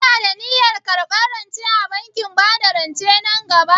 Kina da niyyar karɓar rance a bankin bada rance nan gaba?